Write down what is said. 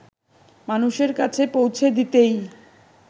মানুষের কাছে পৌঁছে দিতেই